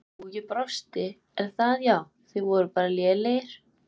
Jú, ég brosi Er það Já Þið voruð bara lélegir?